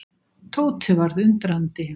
Tóti varð undrandi.